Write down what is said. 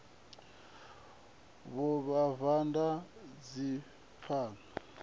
vhuvhava na dzikhakhathi na u